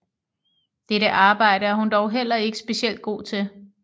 Dette arbejde er hun dog heller ikke specielt god til